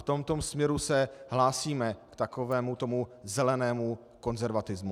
V tomto směru se hlásíme k takovému tomu zelenému konzervatismu.